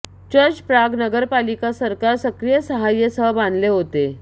church Prague नगरपालिका सरकार सक्रिय सहाय्य सह बांधले होते